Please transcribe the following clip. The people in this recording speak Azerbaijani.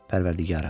Pərvərdigara!